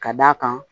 Ka d'a kan